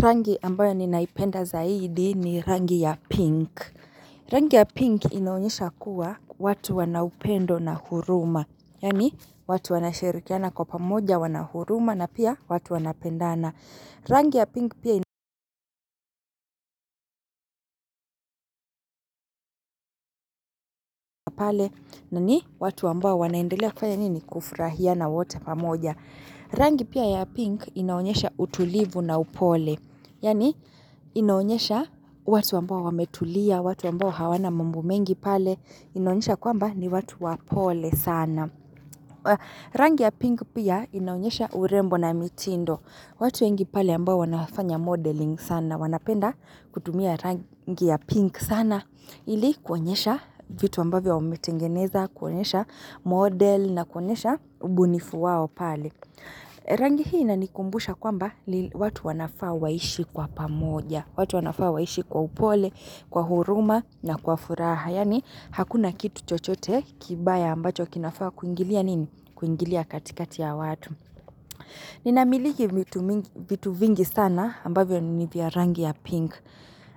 Rangi ambayo ninaipenda zaidi ni rangi ya pink. Rangi ya pink inaonyesha kuwa watu wanaupendo na huruma. Yani watu wanashirikiana kwa pamoja wana huruma na pia watu wanapendana. Rangi ya pink pia pale na ni watu ambao wanaendelea kufanya nini kufurahia na wote pamoja. Rangi pia ya pink inaunyesha utulivu na upole. Yani inaonyesha watu ambao wametulia, watu ambao hawana mambo mengi pale. Inaonyesha kwamba ni watu wapole sana. Rangi ya pink pia inaonyesha urembo na mitindo. Watu wengi pale ambao wanafanya modeling sana. Wanapenda kutumia rangi ya pink sana. Ili kuonyesha vitu ambavyo wametengeneza, kuonyesha model na kuonyesha ubunifu wao pale. Rangi hii inaikumbusha kwamba ni watu wanafaa waishi kwa pamoja. Watu wanafaa waishi kwa upole, kwa huruma na kwa furaha. Yani hakuna kitu chochote kibaya ambacho kinafaa kuingilia nini? Kuingilia katikati ya watu. Ninamiliki vitu vingi sana ambavyo ni vya rangi ya pink.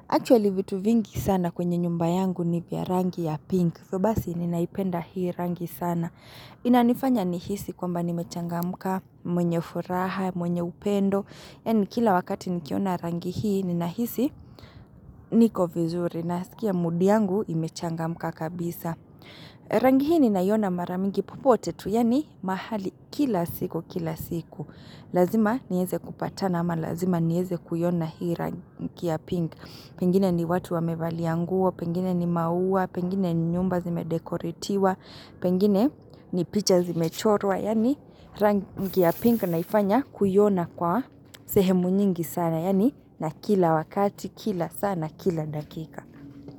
Actually vitu vingi sana kwenye nyumba yangu ni vya rangi ya pink. Hivyo basi ninaipenda hii rangi sana. Inanifanya nihisi kwamba nimechangamka mwenye furaha, mwenye upendo. Yani kila wakati nikiona rangi hii nina hisi niko vizuri naskia mudi yangu imechangamka kabisa. Rangi hii ninaiyona mara nyingi popote tu yani mahali kila siku kila siku. Lazima niweze kupatana ama lazima niweze kuiona hii rangi ya pink. Pengine ni watu wamevalia nguo, pengine ni maua, pengine ni nyumba zimedekoritiwa, Pengine ni picha zimechorwa yani rangi ya pink naifanya kuiyona kwa sehemu nyingi sana yani na kila wakati kila saa kila dakika.